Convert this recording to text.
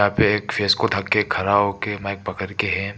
इहापे एक फेस को ढक के खड़ा होके माइक पकड़ के है।